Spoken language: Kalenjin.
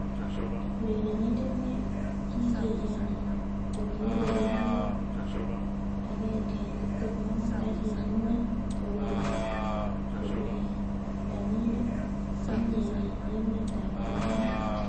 Urerenindet ne kikeeyani ko kiureren agoi 125 ak kikimwa ko urerandindet nemye en emet tab romanik